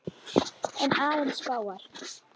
En aðeins fáar.